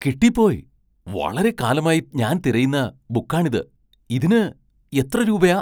കിട്ടിപ്പോയ്! വളരെക്കാലമായി ഞാൻ തിരയുന്ന ബുക്കാണിത്. ഇതിന് എത്ര രൂപയാ ?